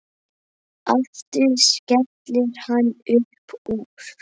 Aftur skellir hann upp úr.